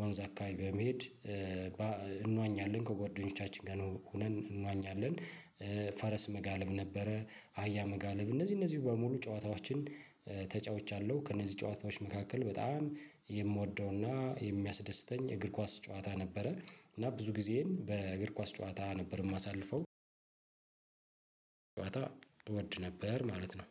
ወንዝ አካባቢ በመሄድ እንዋኛለን ከጓደኞቻችን ጋር ነው ሆነን እንዋኛለን። ፈረስ መጋለብ ነበረ አህያ መጋለብ እነዚህ እነዚህን በሙሉ ጨዋታዎችን ተጫውቻለሁ። ከእነዚህ ጨዋታዎች መካከል በጣም የምወደውና የሚያስደስተኝ የእግር ኳስ ጨዋታ ነበረ እና ብዙ ጊዜን በእግር ኳስ ጨዋታ ነበር የማሳልፈው። እወድ ነበር ማለት ነው።